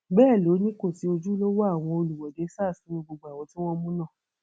bẹẹ ló ní kò sí ojúlówó àwọn olùwọde sars nínú gbogbo àwọn tí wọn mú náà